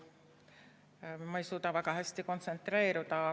Ma ei suuda väga hästi kontsentreeruda.